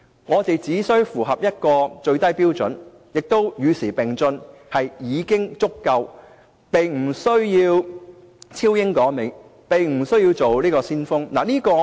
我們只需要與時並進、符合一個最低標準便已經足夠，並不需要超英趕美，也不需要做先鋒。